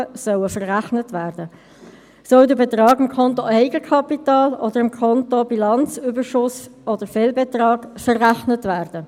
Der Kanton hat zu HRM2 noch den Zusatz IPSAS übernommen und sich damit auch für das Einhalten von internationalen Standards für den öffentlichen Bereich ausgesprochen.